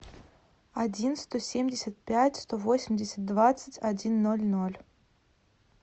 один сто семьдесят пять сто восемьдесят двадцать один ноль ноль